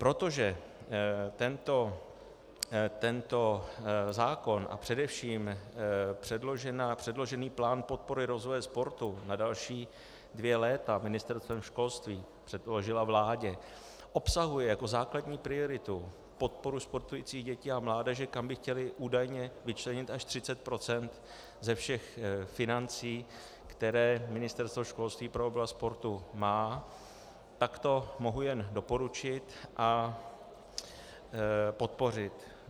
Protože tento zákon a především předložený plán podpory rozvoje sportu na další dvě léta Ministerstvem školství předložila vládě obsahuje jako základní prioritu podporu sportujících dětí a mládeže, kam by chtěli údajně vyčlenit až 30 % ze všech financí, které Ministerstvo školství pro oblast sportu má, tak to mohu jen doporučit a podpořit.